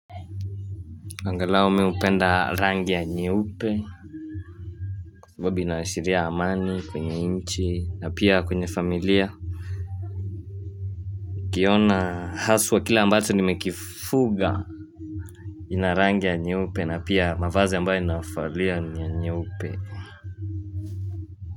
Angalau mimi hupenda rangi ya nyeupe kwasababu inaashiria amani kwenye nchi na pia kwenye familia Ukiona haswa kila ambacho nimekifuga Inarangi ya nyeupe na pia mavazi ambayo inavalia ni nyeupe.